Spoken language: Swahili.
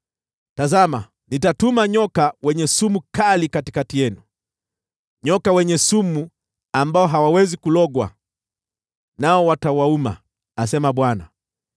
“Tazama, nitatuma nyoka wenye sumu kali katikati yenu, fira ambao hawawezi kulogwa, nao watawauma,” asema Bwana .